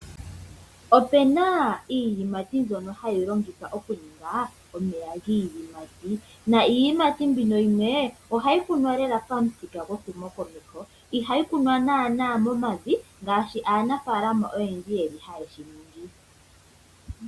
Opena iiyimati ndyono hayi longithwa okuninga omeya giiyimati. Iiyimati mbino yimwe ohayi kunwa lela pamuthika gwehumo komeho ihayi kunwa nana momavi ngaashi aanafalama oyendji hayeshi ningi.